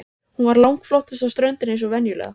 Hún var langflottust á ströndinni eins og venjulega.